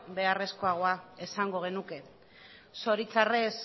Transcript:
beharrezkoa esango genuke zoritzarrez